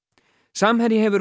samherji hefur